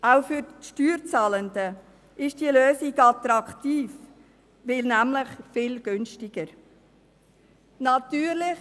Auch für die Steuerzahlenden ist diese Lösung attraktiv, weil sie nämlich viel günstiger ist.